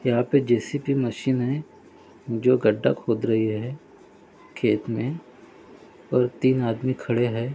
यहा पे JCB machine है जो गड्डा खोद रही है खेत मे और तीन आदमी खड़े है।